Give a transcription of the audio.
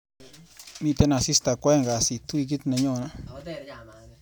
Miite asista kwaeng kasit wikit nenyone.